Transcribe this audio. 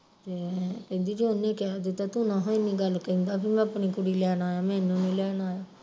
ਤੇ ਕਹਿੰਦੀ ਜੇ ਉਹਨੇ ਕਹਿ ਦਿੱਤਾ ਤੂੰ ਨਾ ਹਾ ਇੰਨੀ ਗੱਲ ਕਹਿੰਦਾ ਬਈ ਮੈਂ ਆਪਣੀ ਕੁੜੀ ਲੈਣ ਆਇਆ ਮੈਨੂੰ ਨੀ ਲੈਣ ਆਇਆ